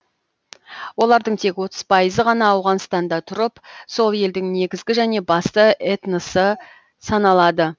олардың тек отыз пайызы ғана ауғанстанда тұрып сол елдің негізігі және басым этносы саналады